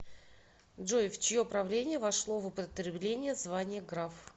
джой в чье правление вошло в употребление звания граф